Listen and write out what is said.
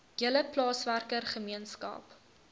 hele plaaswerker gemeenskap